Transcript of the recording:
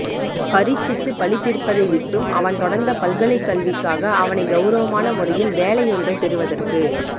பரீட்சித்து பலி தீர்ப்பதைவிட்டும் அவன் தொடர்ந்த பல்கலைக் கல்விக்காக அவனை கெளரவமான முறையில் வேலையொன்றைப் பெறுவதற்கு